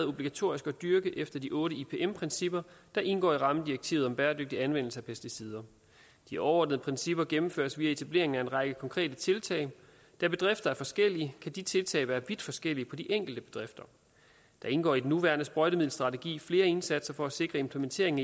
obligatorisk at dyrke efter de otte ipm principper der indgår i rammedirektivet om bæredygtig anvendelse af pesticider de overordnede principper gennemføres via etablering af en række konkrete tiltag da bedrifter er forskellige kan de tiltag være vidt forskellige på de enkelte bedrifter der indgår i den nuværende sprøjtemiddelstrategi flere indsatser for at sikre implementeringen